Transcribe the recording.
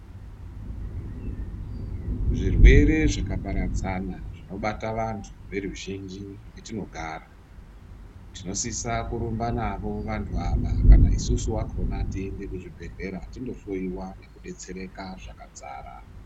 Zvirwere zvakaparadzana zvinobata vantu veruzhinji mwetinogara tinosisa kurumba navo vantu ava kana isusu vakona tiende kuzvibhedhlera tinohloyiwa nekudetsereka zvakadzara.